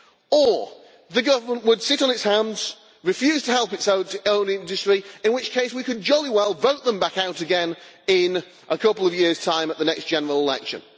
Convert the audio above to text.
Or the government would sit on its hands, refuse to help its own industry, in which case we could jolly well vote them back out again in a couple of years' time at the next general election.